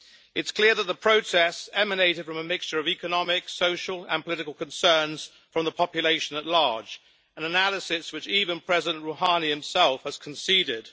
It is clear that the protests emanated from a mixture of economic, social and political concerns from the population at large, an analysis which even President Rouhani himself has conceded.